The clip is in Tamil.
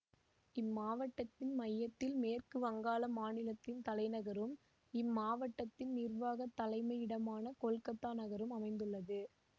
இம்மாவட்டத்தின் மையத்தில் மேற்கு வங்காள மாநிலத்தின் தலைநகரும் இம்மாவட்டத்தின் நிர்வாக தலைமையிடமான கொல்கத்தா நகரம் அமைந்துள்ளது